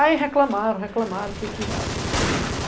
Aí reclamaram, reclamaram, que ia tirar, que ia tirar.